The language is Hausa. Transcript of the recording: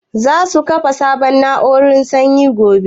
Za su kafa sabon na'urar sanyin gobe?